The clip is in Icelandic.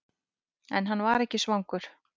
En hann var ekki svangur.